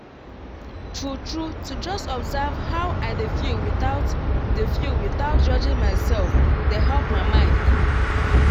true true to just observe how i dey feel without dey feel without judging myself dey help my mind cool.